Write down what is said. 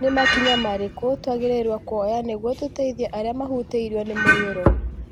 Nĩ makinya marĩkũ twagĩrĩirũo kuoya nĩguo tũteithie arĩa mahutĩirũo nĩ mũiyũro?